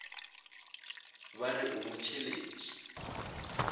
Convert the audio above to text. ba re o mo tšheletše